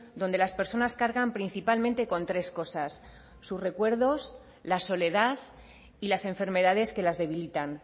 donde las personas cargan principalmente con tres cosas sus recuerdos la soledad y las enfermedades que las debilitan